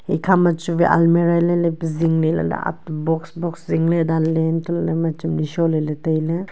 ekha ma chuwai almera lai lai pe jing ley lah ley ag box box zingley dan ley lahley chamdi sholey ley tailey.